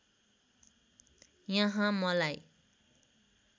यहाँ मलाई